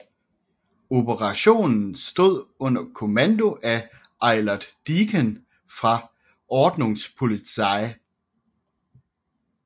Operationen stod under kommando af Eilert Dieken fra Ordnungspolizei